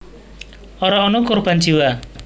Ora ana korban jiwa